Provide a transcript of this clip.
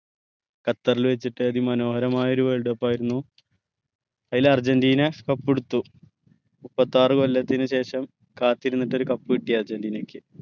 ഖത്തർൽ വെച്ചിറ്റു അതിമനോഹരമായ ഒരു world cup ആയിരുന്നു അയിൽ അർജന്റീന cup എടുത്തു മുപ്പത്താറ് കൊല്ലത്തിന് ശേഷം കാത്തിരുന്നിട്ട് ഒരു cup കിട്ടി അർജന്റീനക്ക്